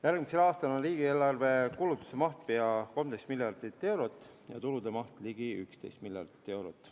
Järgmisel aastal on riigieelarve kulutuste maht pea 13 miljardit eurot ja tulude maht ligi 11 miljardit eurot.